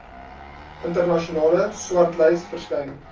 internasionale swartlys verskyn